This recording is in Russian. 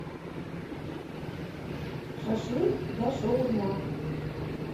шашлык да шаурма